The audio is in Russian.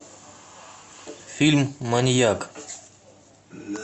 фильм маньяк